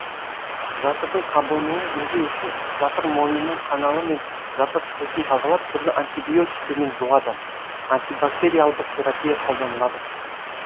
жатырдың қабынуын емдеу үшін жатыр мойнының каналы және жатыр қуысын тазалап түрлі антибиотиктермен жуады антибактериалдық терапия қолданылады